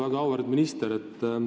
Väga auväärt minister!